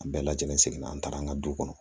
An bɛɛ lajɛlen seginna an taara an ka du kɔnɔ